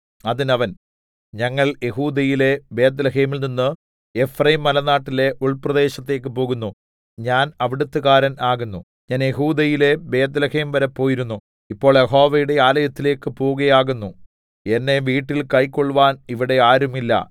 അതിന് അവൻ ഞങ്ങൾ യെഹൂദയിലെ ബേത്ത്ലേഹെമിൽനിന്ന് എഫ്രയീംമലനാട്ടിലെ ഉൾപ്രദേശത്തേക്ക് പോകുന്നു ഞാൻ അവിടത്തുകാരൻ ആകുന്നു ഞാൻ യെഹൂദയിലെ ബേത്ത്ലേഹേം വരെ പോയിരുന്നു ഇപ്പോൾ യഹോവയുടെ ആലയത്തിലേക്ക് പോകയാകുന്നു എന്നെ വീട്ടിൽ കൈക്കൊൾവാൻ ഇവിടെ ആരും ഇല്ല